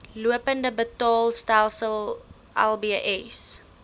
lopende betaalstelsel lbs